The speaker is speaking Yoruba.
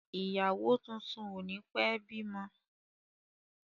Ìyàwó tuntun o ni pẹ bímọ.